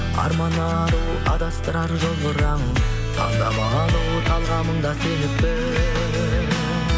арман ару адастырар жолдардан таңдап алу талғамыңда сеніп біл